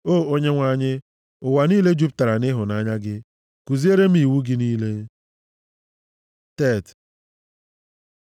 O Onyenwe anyị, ụwa niile jupụtara nʼịhụnanya gị; kuziere m iwu gị niile. ט Tet